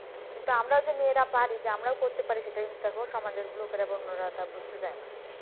কিন্তু আমরাও মেয়েরা যে পারি আমরাও করতে পারি সেটা কিন্তু দেখো সমাজের লোকেরা বা অন্যরা সেটা বুঝতে চায়না।